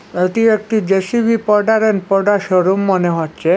এটি একটি JCB showroom মনে হচ্ছে।